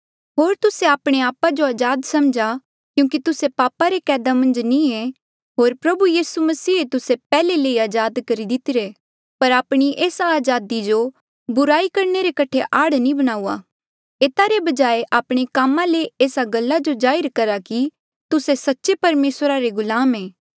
होर तुस्से आपणे आपा जो अजाद समझा क्यूंकि तुस्से पापा रे कैदा मन्झ नी ऐें होर प्रभु यीसू मसीहे तुस्से पैहले ले ही अजाद करी दितिरे पर आपणी एस्सा अजादी जो बुराई करणे रे कठे आड़ नी बणाऊआ एता रे बजाय आपणे कामा ले एस्सा गल्ला जो जाहिर करहा की तुस्से सच्चे परमेसरा रे गुलाम ऐे